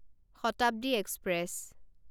Shatabdi express